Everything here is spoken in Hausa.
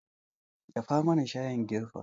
Dafa mana shayin girfa